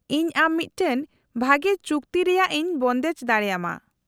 -ᱤᱧ ᱟᱢ ᱢᱤᱫᱴᱟᱝ ᱵᱷᱟᱹᱜᱤ ᱪᱩᱠᱛᱤ ᱨᱮᱭᱟᱜ ᱤᱧ ᱵᱚᱱᱫᱮᱡ ᱫᱟᱲᱮᱭᱟᱢᱟ ᱾